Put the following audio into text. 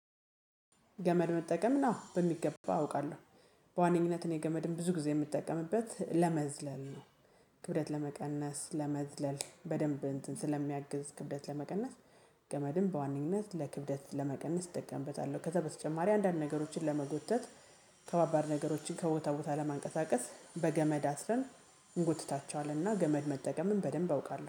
ገመድ መጠቀም ነው በሚገባ አውቃለሁ። በዋነኝነት እኔ ገመድም ብዙ ጊዜ የምጠቀምበት ለመዝለል ነው። ክብደት ለመቀነስ ለመዝለል በደንብ እንትን ስለሚያግዝ ክብደት ለመቀነስ። ገመድም በዋነኝነት ለክብደት ለመቀነስ እጠቀምበታለሁ ከዛ በተጨማሪ አንዳንድ ነገሮችን ለመጎተት። ከባባድ ነገሮችን ከቦታ ቦታ ለማንቀሳቀስ በገመድ አስረን እንጎትታቸዋለንና። ገመድ መጠቀምን በደንብ አውቃለሁ